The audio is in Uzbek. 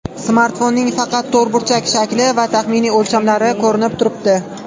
Smartfonning faqat to‘rtburchak shakli va taxminiy o‘lchamlari ko‘rinib turibdi.